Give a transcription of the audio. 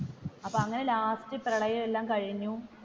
അപ്പോ അങ്ങനെ ലാസ്റ്റ് പ്രളയം എല്ലാം കഴിഞ്ഞു.